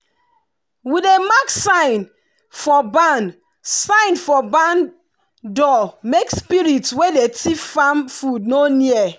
we dey mark sign for barn sign for barn door make spirit wey dey thief farm food no near.